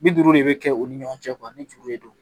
Bi duuru de bɛ kɛ u ni ɲɔgɔn cɛ ni juru de don